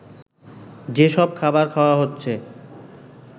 যেসব খাবার খাওয়া হচ্ছে